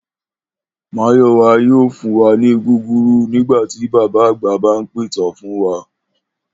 Máyò̩wá yóò fún wa ní gúgúrú nígbà tí bàbá àgbà bá ń pìtàn fún wa